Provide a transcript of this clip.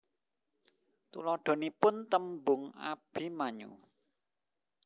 Tuladhanipun tembung Abimanyu